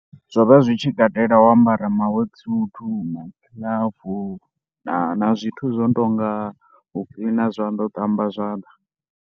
Zwo vha zwi tshi katela u ambara ma work suite na bu, na zwithu zwo no tou nga u cleaner zwanḓa, u ṱamba zwanḓa.